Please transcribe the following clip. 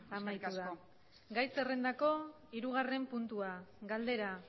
amaitu da bai eskerrik asko gai zerrendako hirugarren puntua galdera